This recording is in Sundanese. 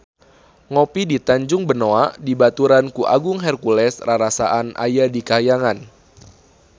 Ngopi di Tanjung Benoa dibaturan ku Agung Hercules rarasaan aya di kahyangan